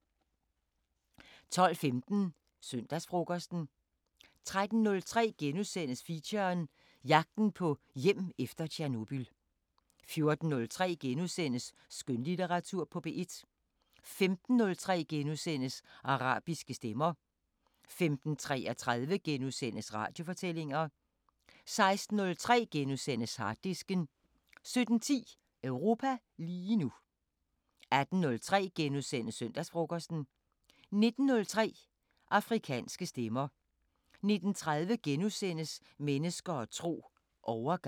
12:15: Søndagsfrokosten 13:03: Feature: Jagten på hjem efter Tjernobyl * 14:03: Skønlitteratur på P1 * 15:03: Arabiske Stemmer * 15:33: Radiofortællinger * 16:03: Harddisken * 17:10: Europa lige nu 18:03: Søndagsfrokosten * 19:03: Afrikanske Stemmer 19:30: Mennesker og tro: Overgang *